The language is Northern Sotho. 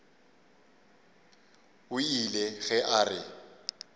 o ile ge a re